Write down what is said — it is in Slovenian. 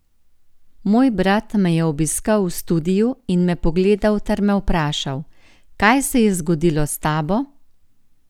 Moj brat me je obiskal v studiu in me pogledal ter me vprašal: 'Kaj se je zgodilo s tabo?